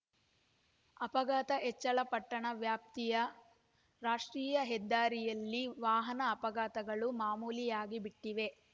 ಅಪಘಾತ ಹೆಚ್ಚಳ ಪಟ್ಟಣ ವ್ಯಾಪ್ತಿಯ ರಾಷ್ಟ್ರೀಯ ಹೆದ್ದಾರಿಯಲ್ಲಿ ವಾಹನ ಅಪಘಾತಗಳು ಮಾಮೂಲಿಯಾಗಿ ಬಿಟ್ಟಿವೆ